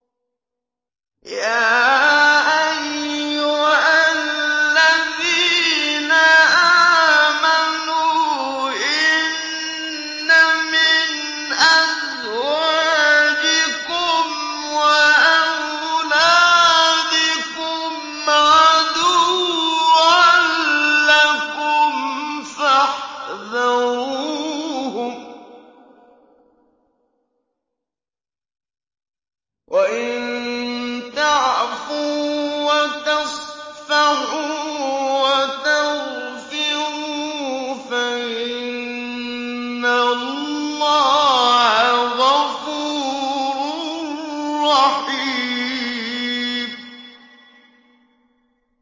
يَا أَيُّهَا الَّذِينَ آمَنُوا إِنَّ مِنْ أَزْوَاجِكُمْ وَأَوْلَادِكُمْ عَدُوًّا لَّكُمْ فَاحْذَرُوهُمْ ۚ وَإِن تَعْفُوا وَتَصْفَحُوا وَتَغْفِرُوا فَإِنَّ اللَّهَ غَفُورٌ رَّحِيمٌ